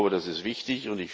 Das ist wichtig!